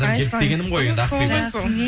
айтпаңыз сол ғой сол